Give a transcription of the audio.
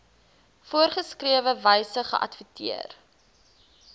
voorgeskrewe wyse geadverteer